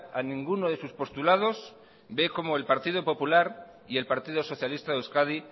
a ninguno de sus postulados ve cómo el partido popular y el partido socialista de euskadi